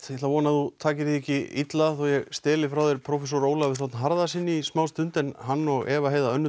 ég vona að þú takir því ekki illa þó ég frá þér prófessor Ólafi þ Harðarsyni í smástund en hann og Eva Heiða